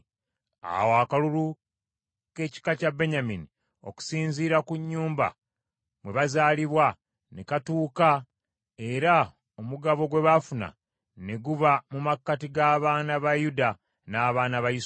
Awo akalulu k’ekika kya Benyamini, okusinziira ku nnyumba mwe bazaalibwa, ne katuuka era omugabo gwe baafuna ne guba mu makkati g’abaana ba Yuda n’abaana ba Yusufu.